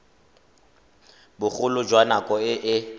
bogolo jwa nako e e